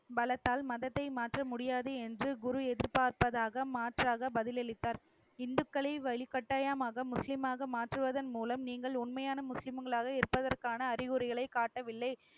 பலத்தால் மதத்தை மாற்ற முடியாது என்று குரு எதிர்பார்ப்பதாக மாற்றாக பதில் அளித்தார். இந்துக்களை வலுக்கட்டாயமாக, முஸ்லீமாக மாற்றுவதன் மூலம் நீங்கள் உண்மையான முஸ்லிம்களாக இருப்பதற்கான அறிகுறிகளை காட்டவில்லை.